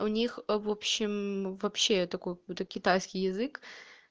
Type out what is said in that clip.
у них в общем вообще такой какой-то китайский язык